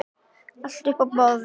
Allt upp á borðið?